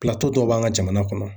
dɔw b'an ka jamana kɔnɔ.